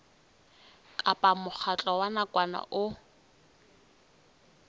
kapa mokgatlo wa nakwana o